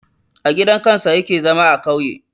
A gidan kansa yake zama a kauye